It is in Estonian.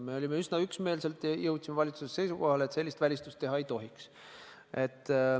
Me jõudsime üsna üksmeelselt valitsuses seisukohale, et sellist välistust teha ei tohiks.